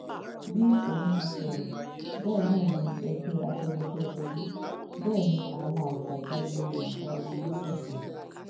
bí òun ti sọrọ bẹẹ náà ni ẹgbẹ afẹnifẹre wí bẹẹ ni àwọn àgbààgbà ilẹ yorùbá gbogbo sì sọ